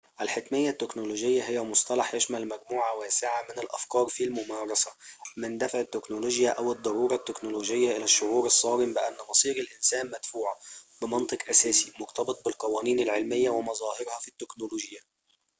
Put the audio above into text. الحتمية التكنولوجية هي مصطلح يشمل مجموعة واسعة من الأفكار في الممارسة من دفع التكنولوجيا أو الضرورة التكنولوجية إلى الشعور الصارم بأن مصير الإنسان مدفوع بمنطق أساسي مرتبط بالقوانين العلمية ومظاهرها في التكنولوجيا